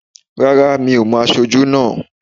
Rárá, mi ò mo aṣojú náà